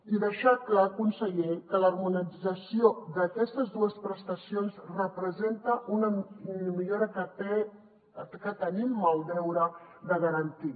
i deixar clar conseller que l’harmonització d’aquestes dues prestacions representa una millora que tenim el deure de garantir